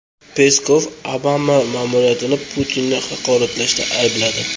Peskov Obama ma’muriyatini Putinni haqoratlashda aybladi.